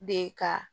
De ka